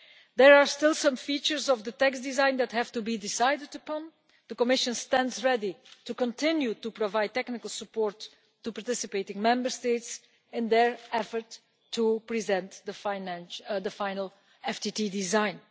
There are still some features of the text design that have to be decided upon. The Commission stands ready to continue to provide technical support to participating Member States in their effort to present the final FTT design.